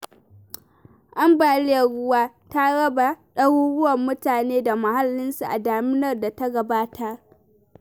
Ambaliyar ruwa ta raba ɗaruruwarn mutane da muhallinsu a daminar da ta gabata.